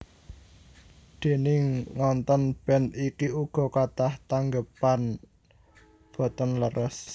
Déning ngontèn band iki uga kathah tanggépan boten leres